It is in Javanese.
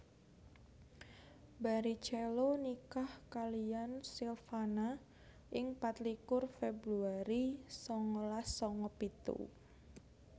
Barrichello nikah kaliyan Silvana ing patlikur Februari sangalas sanga pitu